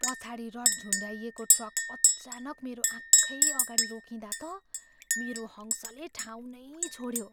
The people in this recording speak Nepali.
पछाडि रड झुन्डाइएको ट्रक अचानक मेरो आँखैअघाडि रोकिँदा त मेरो हङ्सले ठाउँ नै छोड्यो।